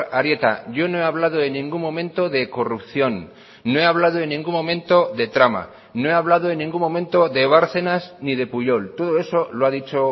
arieta yo no he hablado en ningún momento de corrupción no he hablado en ningún momento de trama no he hablado en ningún momento de bárcenas ni de pujol todo eso lo ha dicho